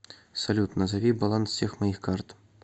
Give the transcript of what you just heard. салют назови баланс всех моих карт